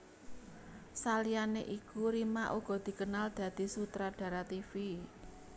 Saliyané iku Rima uga dikenal dadi sutradara tivi